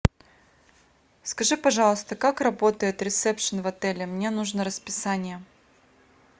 скажи пожалуйста как работает ресепшен в отеле мне нужно расписание